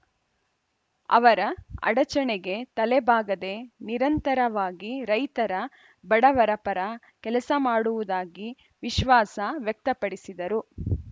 ಅವರ ಅಡಚಣೆಗೆ ತಲೆಬಾಗದೆ ನಿರಂತರವಾಗಿ ರೈತರ ಬಡವರ ಪರ ಕೆಲಸ ಮಾಡುವುದಾಗಿ ವಿಶ್ವಾಸ ವ್ಯಕ್ತಪಡಿಸಿದರು